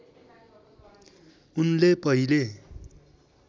उनले पहिले